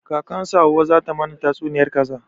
Kakan su hauwa za ta mana tatsuniyar kaza